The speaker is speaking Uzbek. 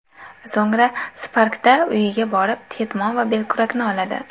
So‘ngra Spark’da uyiga borib, ketmon va belkurakni oladi.